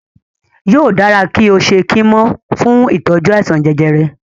Yóò dára kí o ṣe kímò fún ìtọ́jú àìsàn jẹjẹrẹ.